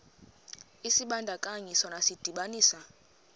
isibandakanyi sona sidibanisa